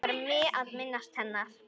Langar mig að minnast hennar.